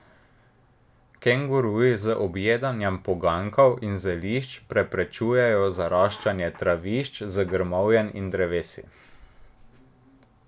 Kenguruji z objedanjem poganjkov in zelišč preprečujejo zaraščanje travišč z grmovjem in drevesi.